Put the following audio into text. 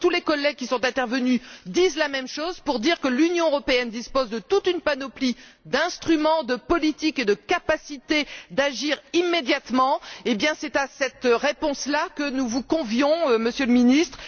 Je crois que tous les collègues qui sont intervenus disent la même chose, à savoir que l'Union européenne dispose de toute une panoplie d'instruments, de politiques et d'une capacité d'agir immédiatement c'est à cette réponse là que nous vous convions, Monsieur le Ministre.